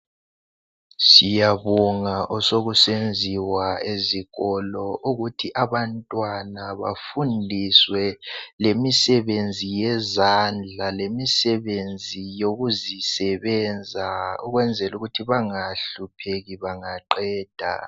Siyabonga osokusenziwa ezikolo ukuthi abantwana bafundiswe lemisebenzi yezandla lemisebenzi yokuzibenza ukwenzela ukuthi bangahlupheki bangaqeda.